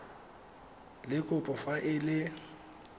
le kopo fa e le